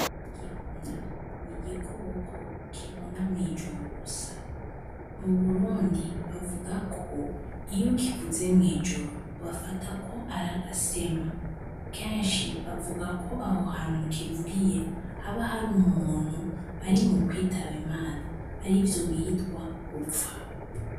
Igihuna n’igikoko kibona mw’ijoro gusa. Mu Burundi, bavuga ko iyo kivuze mw’ijoro bafata ko ari agasema, kenshi bavuga ko aho hantu kivugiye haba hari umuntu ari mu kwitaba Imana, arivyo bitwa gupfa.